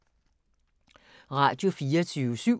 Radio24syv